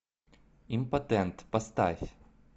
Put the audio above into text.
импотент поставь